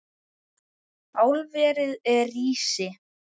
Álverið rísi!